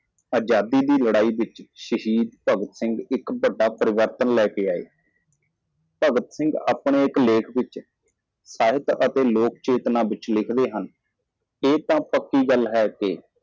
ਆਜ਼ਾਦੀ ਦੇ ਲੜਾਈ ਵਿੱਚ ਸ਼ਹੀਦ ਭਗਤ ਸਿੰਘ ਨੇ ਵੱਡੀ ਤਬਦੀਲੀ ਲਿਆਂਦੀ ਭਗਤ ਸਿੰਘ ਨੇ ਆਪਣੇ ਇੱਕ ਲੇਖ ਵਿੱਚ ਸਾਹਿਤ ਅਤੇ ਲੋਕ ਚੇਤਨਾ ਵਿੱਚ ਲਿਖਦਾ ਹੈ ਇਹ ਯਕੀਨੀ ਹੈ ਕਿ